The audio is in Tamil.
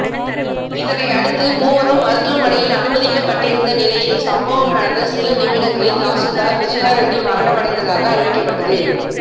இதனையடுத்து மூவரும் மருத்துவமனையில் அனுமதிக்கப்பட்டிருந்த நிலையில் சம்பவம் நடந்த சில நிமிடங்களில் தாசில்தார் விஜயா ரெட்டி மரணமடைந்ததாக அறிவிக்கப்பட்டது